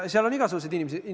Seal on igasuguseid inimesi.